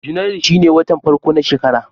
Janairu shine watan farko na shekara.